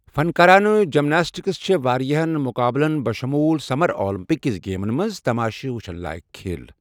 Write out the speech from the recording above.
فنكارانہٕ gymnastics چھے٘ وارِیاہن مٗقابلن بشموٗل سمر آلمپِك گیمزن منز تماشہِ وٗچھٗن لایكھ كھیل۔